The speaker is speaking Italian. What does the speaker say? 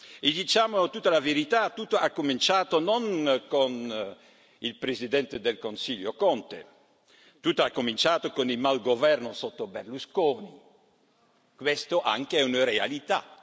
E diciamo tutta la verità tutto è cominciato non con il Presidente del Consiglio Conte, tutto è cominciato con il malgoverno sotto Berlusconi. Questa anche è la verità.